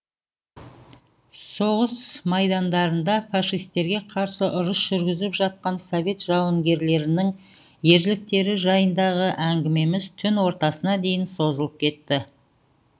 соғыс майдандарында фашистерге қарсы ұрыс жүргізіп жатқан совет жауынгерлерінің ерліктері жайындағы әңгімеміз түн ортасына дейін созылып кетті